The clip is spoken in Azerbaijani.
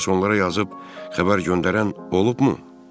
Bəs onlara yazıb xəbər göndərən olubmu?